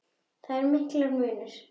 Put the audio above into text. Þar er mikill munur.